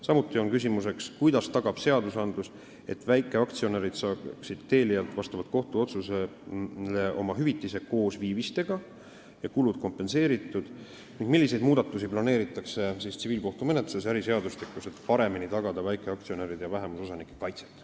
Samuti on küsimuseks, kuidas tagab seadus, et väikeaktsionärid saaksid Telialt vastavalt kohtuotsusele oma hüvitise koos viivistega ja kulud kompenseeritud ning milliseid muudatusi planeeritakse tsiviilkohtumenetluse seadustikus ja äriseadustikus, et paremini tagada väikeaktsionäride ja vähemusosanike kaitse.